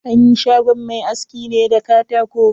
An yi shagon mai askin ne da katako.